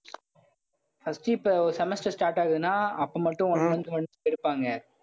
first இப்ப semester start ஆகுதுன்னா அப்ப மட்டும் one month notes எடுப்பாங்க.